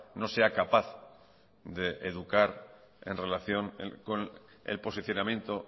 no sea capaz de educar en relación con el posicionamiento